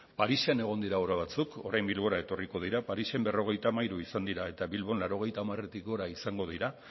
parisen egon dira obra batzuk orain bilbora etorriko dira parisen berrogeita hamairu izan dira eta bilbon laurogeita hamaretik gora izango dira